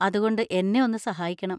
അതുകൊണ്ട് എന്നെ ഒന്ന് സഹായിക്കണം.